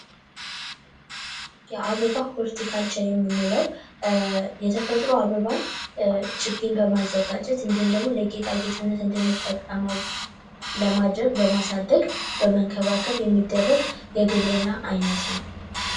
የአበባ ሆርቲካልቸር የምንለው የተፈጥሮ አበባን ችግኝ በማዘጋጀት እንዲሁም ደግሞ ለጌጣጌጥነት እንድንጠቀመው ለማድረግ በማሳደግ የሚደረግ የግብርና አይነት ነው።